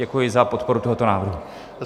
Děkuji za podporu tohoto návrhu.